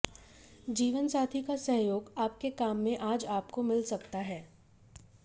जीवनसाथी का सहयोग आपके काम में आज आपको मिल सकता है